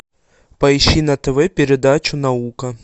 поищи на тв передачу наука